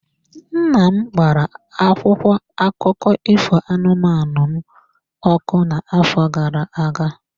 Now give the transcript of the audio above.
Nna m gbara akwụkwọ akụkọ ifo anụmanụ m ọkụ n'afọ gara aga.